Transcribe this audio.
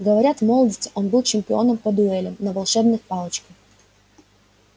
говорят в молодости он был чемпионом по дуэлям на волшебных палочках